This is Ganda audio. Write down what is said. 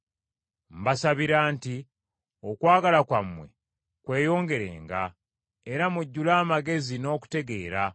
Mbasabira nti okwagala kwammwe kweyongerenga, era mujjule amagezi n’okutegeera,